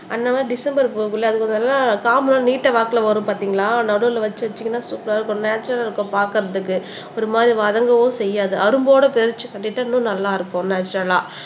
அந்த மாதிரி டிசம்பர் பூவுக்குள்ள அது கொஞ்சம் நல்லா காம்பு எல்லாம் நீட்ட வாக்குல வரும் பார்த்தீங்களா நடுவுல வச்சு வச்சீங்கன்னா சூப்பர்ரா இருக்கும் நேச்சரல் இருக்கும் பாக்குறதுக்கு ஒரு மாதிரி வதங்கவும் செய்யாது அரும்போட பறிச்சு கட்டிட்டா இன்னும் நல்லா இருக்கும் நேச்சரல்லா